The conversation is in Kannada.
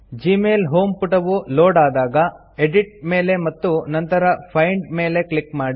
ಜಿಮೇಲ್ ಹೋಮ್ ಪುಟವು ಲೋಡ್ ಆದಾಗ ಎಡಿಟ್ ಮೇಲೆ ಮತ್ತು ನಂತರ ಫೈಂಡ್ ಮೇಲೆ ಕ್ಲಿಕ್ ಮಾಡಿ